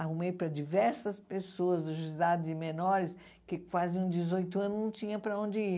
Arrumei para diversas pessoas o juizado de menores, que faziam dezoito anos não tinham para onde ir.